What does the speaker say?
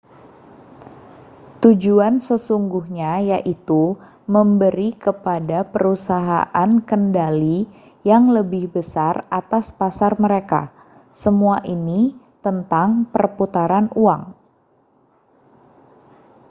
tujuan sesungguhnya yaitu memberi kepada perusahaan kendali yang lebih besar atas pasar mereka semua ini tentang perputaran uang